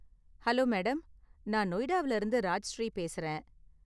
Hello madam, நான் நொய்டாவுல இருந்து ராஜ்ஸ்ரீ பேசறேன்.